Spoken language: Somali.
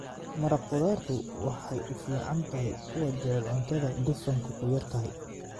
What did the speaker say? Maraq khudaartu waxay u fiican tahay kuwa jecel cuntada dufanku ku yar yahay.